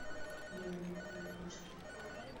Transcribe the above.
гена букин моргенштерн